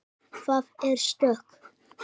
Jú, það er stökk.